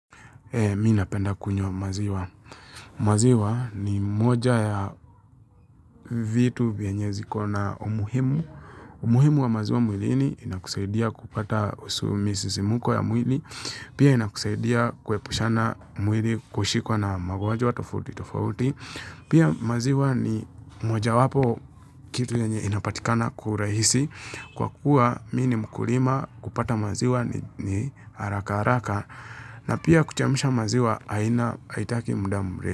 Mimi napenda kunywa maziwa. Maziwa ni moja ya vitu vyenye ziko na umuhimu. Umuhimu wa maziwa mwilini inakusaidia kupata misisimuko ya mwili. Pia inakusaidia kuepusha mwili kushikwa na magonjwa tofauti tofauti. Pia maziwa ni mojawapo ya kitu yenye inapatikana kwa urahisi. Kwa kuwa mimi ni mkulima, kupata maziwa ni haraka haraka. Na pia kuchemsha maziwa, haitaki muda mrefu.